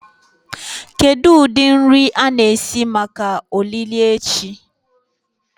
Kedu ụdị nri anyị na-esi maka olili echi?